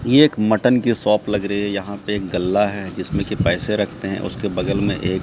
ये एक मटन की शॉप लग रही है यहाँ पे एक गल्ला है जिसमें की पैसे रखते हैं उसके बगल में एक --